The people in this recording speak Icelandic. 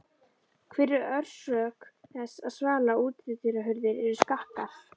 Hver er orsök þess að svala- og útihurðir eru skakkar?